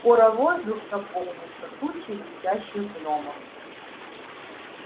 скоро воздух наполнился тучей летящих гномов